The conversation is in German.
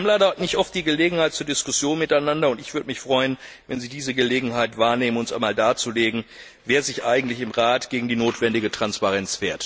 Wir haben leider nicht oft die Gelegenheit zur Diskussion miteinander und ich würde mich freuen, wenn Sie diese Gelegenheit wahrnehmen, um uns einmal darzulegen, wer sich eigentlich im Rat gegen die notwendige Transparenz wehrt.